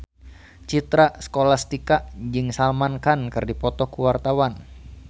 Citra Scholastika jeung Salman Khan keur dipoto ku wartawan